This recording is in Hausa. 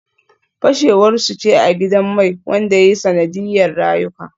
Fashewar su ce a gidan mai wanda ya yi sanadiyar rayuka